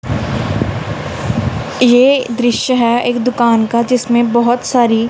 ये दृश्य है एक दुकान का जिसमें बहुत सारी--